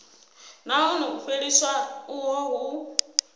nahone u fheliswa uho hu